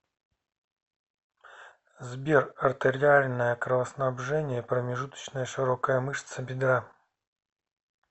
сбер артериальное кровоснабжение промежуточная широкая мышца бедра